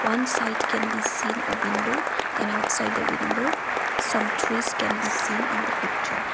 one side can be seen a window and outside the window some trees can be seen in the picture.